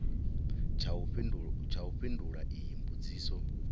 tsha u fhindula iyi mbudziso